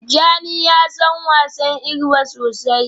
Tijjani ya san wasa igba sosai